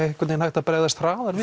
einhvern veginn hægt að bregðast hraðar